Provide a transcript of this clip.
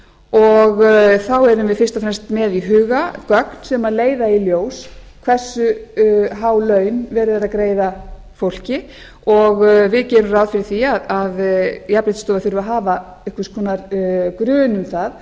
og þá erum við fyrst og fremst með í huga gögn sem leiða í ljós hversu há laun verið er að greiða fólki og við gerum ráð fyrir því að jafnréttisstofa þurfi að hafa einhvers konar grun fimm